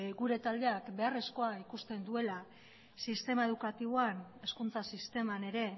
gure taldeak beharrezkoa ikusten duela sistema edukatiboan hezkuntza sisteman ere